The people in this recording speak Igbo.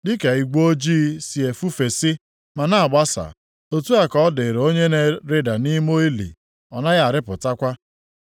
Dịka igwe ojii si efefusi ma na-agbasa, otu a ka ọ dịrị onye na-arịda nʼime ili ọ naghị arịpụtakwa.